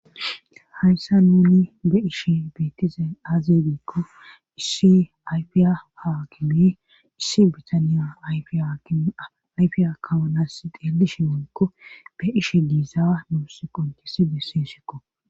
hayssa nuni be'ishe biitize azedeekko issi yfiya haakimi issi bitaniya ayfiya kawonas xeelishe wonkko be ishe diisa nuu si qontissi besseeshikko